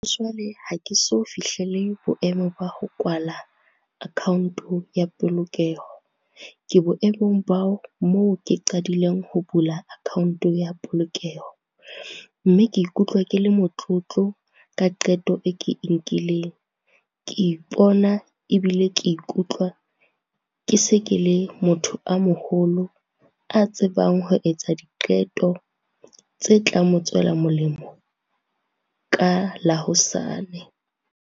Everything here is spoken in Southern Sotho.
Jwale ha ke so fihlele boemo ba ho kwala account ya polokeho, ke boemong ba moo ke qadileng ho bula account ya polokeho, mme ke ikutlwa ke le motlotlo ka qeto e ke e nkileng. Ke ipona ebile ke ikutlwa, ke se ke le motho a moholo a tsebang ho etsa diqeto tse tla mo tswela molemo, ka la hosane.